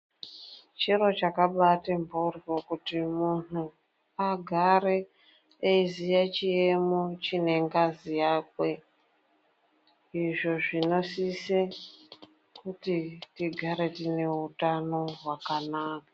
Chiro chakambaati mhoryo kuti muntu agare eyiziya chiyemo chinengazi yakwe, Izvo zvinosise kuti tigare tineutano hwakanaka.